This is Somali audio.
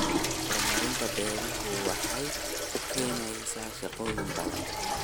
Horumarinta beeruhu waxay keenaysaa shaqooyin badan.